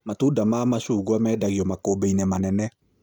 Matunda ma macungwa mendagio makũmbĩ-inĩ manene